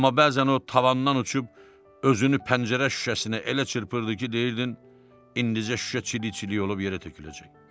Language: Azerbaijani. Amma bəzən o tavandan uçub özünü pəncərə şüşəsinə elə çırpırdı ki, deyirdin indicə şüşə çilik-çilik olub bir yerə töküləcək.